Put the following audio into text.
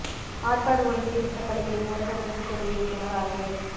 ஆற்காடு ஒன்றிய திட்டப் பணிகளை ஊரக வளா்ச்சித் துறை இயக்குநா் ஆய்வு